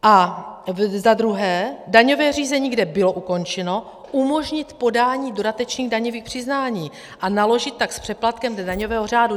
A za druhé, daňové řízení, kde bylo ukončeno, umožnit podání dodatečných daňových přiznání, a naložit tak s přeplatkem dle daňového řádu.